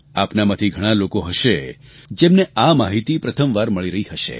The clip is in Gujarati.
આપના માંથી ઘણાં લોકો હશે જેમને આ માહિતી પ્રથમવાર મળી રહી હશે